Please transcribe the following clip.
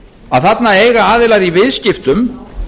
að þarna eiga aðilar í viðskiptum